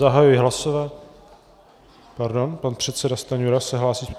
Zahajuji hlasování - pardon, pan předseda Stanjura se hlásí.